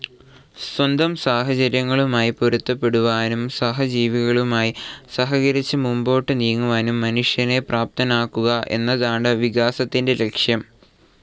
സ്വന്തം സാഹചര്യങ്ങളുമായി പൊരുത്തപ്പെടുവാനും സഹജീവികളുമായി സഹകരിച്ച് മുമ്പോട്ട് നീങ്ങുവാനും മനുഷ്യനെ പ്രാപ്തനാക്കുക എന്നതാണ് വികാസത്തിൻ്റെ ലക്ഷ്യം.